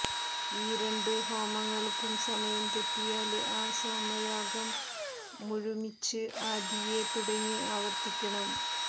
ഈ രണ്ടു ഹോമങ്ങള്ക്കും സമയം തെറ്റിയാല് ആ സോമയാഗം മുഴുമിച്ച് ആദിയേ തുടങ്ങി ആവര്ത്തിക്കണം